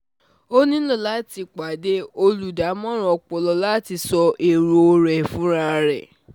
O nílò láti pàdé olùdámọ̀ràn ọpọlọ láti sọ èrò rẹ fúnra rẹ